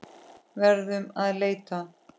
Verðum að leita.